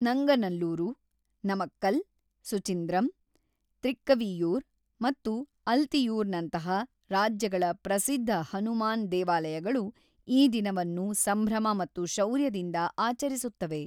ನಂಗನಲ್ಲೂರು, ನಮಕ್ಕಲ್, ಸುಚಿಂದ್ರಂ, ತ್ರಿಕ್ಕವಿಯೂರ್ ಮತ್ತು ಅಲ್ತಿಯೂರ್‌ ನಂತಹ ರಾಜ್ಯಗಳ ಪ್ರಸಿದ್ಧ ಹನುಮಾನ್ ದೇವಾಲಯಗಳು ಈ ದಿನವನ್ನು ಸಂಭ್ರಮ ಮತ್ತು ಶೌರ್ಯದಿಂದ ಆಚರಿಸುತ್ತವೆ.